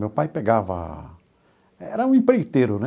Meu pai pegava... era um empreiteiro, né?